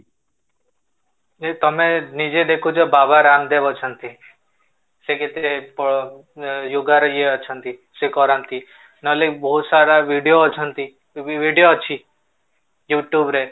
ତମେ ନିଜେ ଦେଖୁଛ ବାବା ରାମଦେବ ଅଛନ୍ତି ସେ କେତେ yoga ରେ ଇଏ ଅଛନ୍ତି ସେ କରନ୍ତି ନହେଲେ ବହୁତ ସାରା ଭିଡ଼ିଓ ଅଛନ୍ତି କି ବି ଭିଡ଼ିଓ ଅଛି youtube ରେ